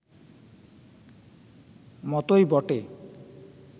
মতোই বটে